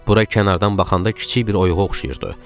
Bura kənardan baxanda kiçik bir oyuğa oxşayırdı.